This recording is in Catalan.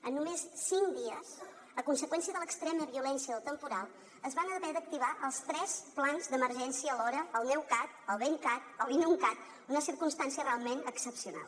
en només cinc dies a conseqüència de l’extrema violència del temporal es van haver d’activar els tres plans d’emergència alhora el neucat el ventcat l’inuncat una circumstància realment excepcional